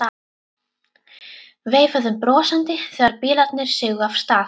Veifuðum brosandi þegar bílarnir sigu af stað.